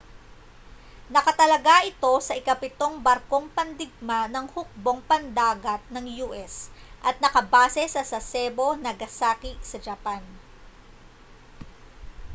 nakatalaga ito sa ikapitong barkong pandigma ng hukbong pandagat ng u.s. at nakabase sa sasebo nagasaki sa japan